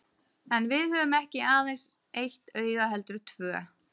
En við höfum ekki aðeins eitt auga heldur tvö.